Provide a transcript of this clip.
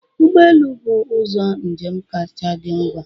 Ụgbọelu bụ ụzọ njem kacha dị ngwa